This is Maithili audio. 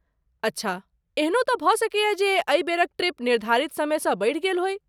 अच्छा, एहनो तँ भऽ सकैए जे एहि बेरक ट्रिप निर्धारित समयसँ बढ़ि गेल होइ।